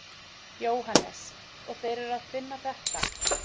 Jóhannes: Og þeir eru að finna þetta?